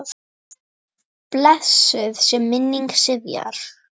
Blessuð sé minning Sifjar.